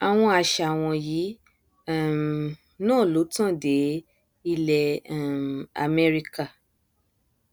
àwọn àṣà wọnyí um náà ló tàn dé ilẹ um amẹríkà